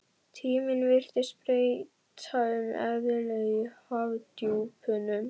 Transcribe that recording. Tíminn virtist breyta um eðli í hafdjúpunum.